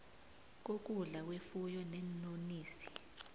kokudla kwefuyo neenonisi